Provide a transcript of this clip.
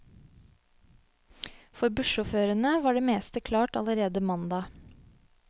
For bussjåførene var det meste klart allerede mandag.